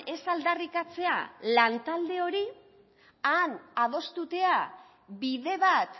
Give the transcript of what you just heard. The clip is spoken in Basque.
ez aldarrikatzea lan talde hori han adostea bide bat